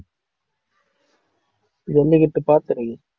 ஜல்லிக்கட்டு பாத்திருக்கேன்